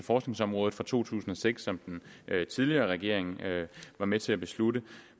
forskningsområdet fra to tusind og seks som den tidligere regering var med til at beslutte